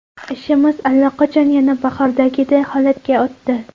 Ishimiz allaqachon yana bahordagidek holatga o‘tdi.